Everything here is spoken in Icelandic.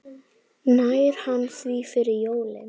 Nær hann því fyrir jólin?